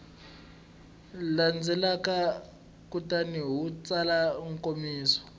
landzelaka kutani u tsala nkomiso